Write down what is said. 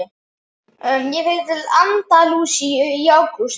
Ég fer til Andalúsíu í ágúst.